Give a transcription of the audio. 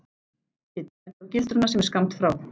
Kiddi bendir á gildruna sem er skammt frá.